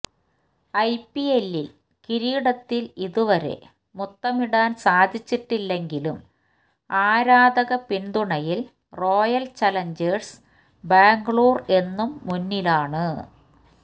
ഐപിഎല്ലിൽ കിരീടത്തിൽ ഇതുവരെ മുത്തമിടാൻ സാധിച്ചിട്ടില്ലെങ്കിലും ആരാധക പിന്തുണയിൽ റോയൽ ചലഞ്ചേഴ്സ് ബാംഗ്ലൂർ എന്നും മുന്നിലാണ്